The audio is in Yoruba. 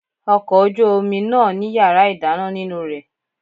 Ọkọ̀ ojú omi náà ní yàrá ìdáná nínú rẹ̀.